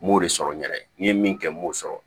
N m'o de sɔrɔ n yɛrɛ ye n ye min kɛ n b'o sɔrɔ